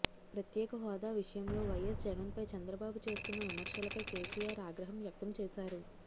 ప్రత్యేక హోదా విషయంలో వైఎస్ జగన్పై చంద్రబాబు చేస్తున్న విమర్శలపై కేసీఆర్ ఆగ్రహం వ్యక్తం చేశారు